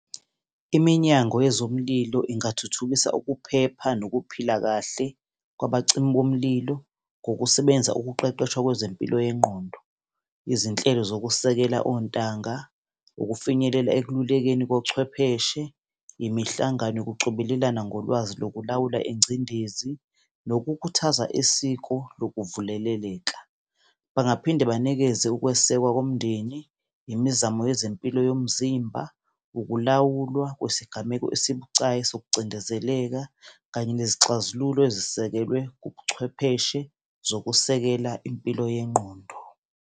Iminyango wezomlilo ingathuthukisa ukuphepha nokuphila kahle kwabacimi bomlilo, ngokusebenzisa ukuqeqeshwa kwezempilo yengqondo, izinhlelo zokusekela ontanga, ukufinyelela ekululekeni kochwepheshe, imihlangano yokucobelelana ngolwazi lokulawula ingcindezi, nokukhuthaza isiko lokuvuleleleka. Bangaphinde banikezwe ukwesekwa komndeni, imizamo yezempilo yomzimba, ukulawulwa kwesigameko esibucayi sokucindezeleka, kanye nezixazululo ezisekelwe ubuchwepheshe zokusekela impilo yengqondo.